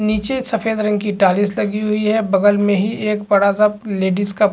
निचे सफ़ेद रंग की टाइल्स लगी हुई है बगल में ही एक बड़ा सा लेडीज का --